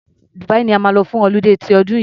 Dubia ni a máa lọ fún ọludé ti ọdún yìí.